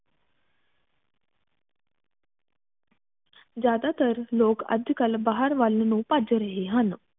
ਜ਼ਿਆਦਾ ਤਰ ਲੋਗ ਅਜ ਕਲ ਬਾਹਰ ਵਲ ਨੂੰ ਭੱਜ ਰਹੇ ਹਨ